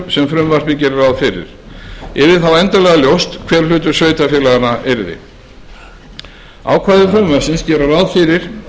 sem frumvarpið gerir ráð fyrir yrði þá endanlega ljóst hver hlutur sveitarfélaganna yrði ákvæði frumvarpsins gera ráð fyrir